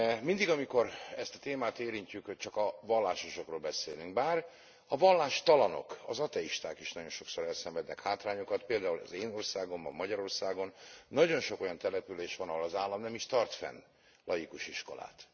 Mindig, amikor ezt a témát érintjük, hogy csak a vallásosakról beszélünk, bár a vallástalanok, az ateisták is nagyon sokszor elszenvednek hátrányokat, például az én országomban, Magyarországon nagyon sok olyan település van, ahol az állam nem is tart fenn laikus iskolát.